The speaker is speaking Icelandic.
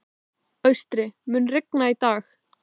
Austri, mun rigna í dag?